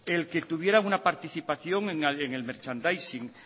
el que tuviera una participación en el merchandising